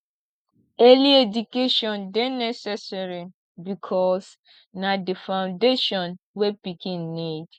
early education de necessary because na di foundation wey pikin need